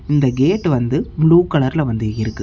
இந்த கேட் வந்து ப்ளூ கலர்ல வந்து இருக்கு.